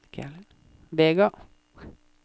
Vega